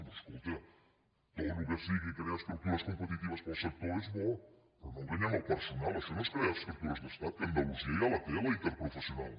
doncs escolta tot el que sigui crear estructures competiti·ves per al sector és bo però no enganyem el personal això no és crear estructures d’estat que andalusia ja la té la interprofessional